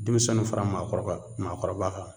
Demisɛnninw fara maakɔrɔ ka maakɔrɔba kan